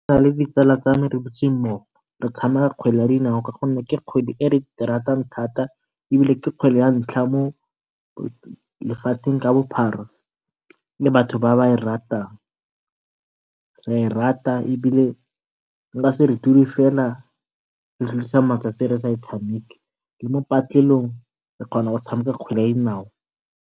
Nna le ditsala tsame re dutse mmogo re tshameka kgwele ya dinao ka gonne eke kgwele re di ratang thata, ebile ke kgwele ya ntlha mo lefatsheng ka bophara e batho ba e ratang. Re a e rata ebile re ka se dule fela re tlodisa matsatsi re sa e tshameke, le mo patlelong re kgona go tshameka kgwele ya dinao.